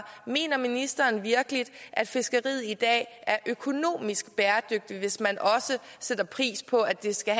mener ministeren virkelig at fiskeriet i dag er økonomisk bæredygtigt hvis man også sætter pris på at det skal